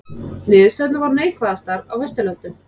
Niðurstöðurnar voru neikvæðastar á Vesturlöndum